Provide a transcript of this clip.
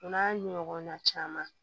O n'a ɲɔgɔnna caman